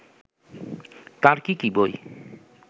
তার কি কি বই